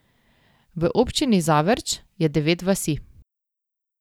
V občini Zavrč je devet vasi.